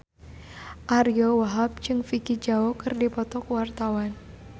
Ariyo Wahab jeung Vicki Zao keur dipoto ku wartawan